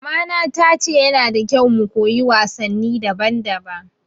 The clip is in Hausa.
Mama na ta ce ya na da kyau mu koyi wasanni daban daban